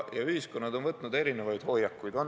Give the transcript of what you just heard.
Ja ühiskonnad on võtnud erinevaid hoiakuid.